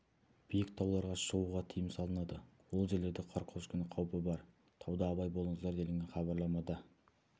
биік тауларға шығуғы тыйым салынады ол жерлерде қар көшкіні қауіпі бар тауда абай болыңыздар делінген хабарламада